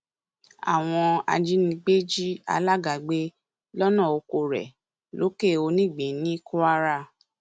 àwọn ajínigbé jí àlàgà gbé lọnà oko rẹ lọkẹonígbín ní kwara